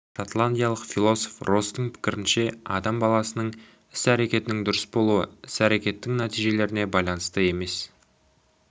шотландиялық философ росстың пікірінше адам баласының іс-әрекетінің дұрыс болуы іс-әрекеттің нәтижелеріне байланысты емес